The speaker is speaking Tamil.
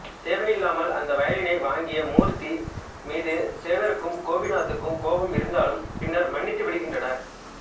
தேவையில்லாமல் அந்த வயலினை வாங்கிய மூர்த்தி மீது சேகரிக்கும் கோபிநாத்துக்கும் கோபம் இருந்தாலும் பின்னர் மன்னித்துவிடுகின்றனர்